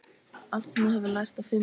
Allt sem þú hefur lært á fimm árum.